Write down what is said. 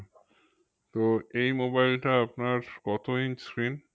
তো এই mobile টা আপনার কত inch screen?